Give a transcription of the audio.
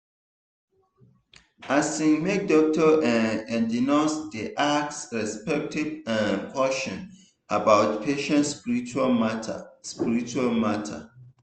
asin make doctor[um]and nurse dey ask respectful um question about patient spiritual matter. spiritual matter.